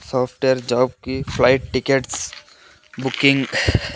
Soft wear job కి flight tickets booking .